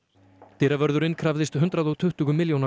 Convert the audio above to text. dyravörðurinn krafðist hundrað og tuttugu milljóna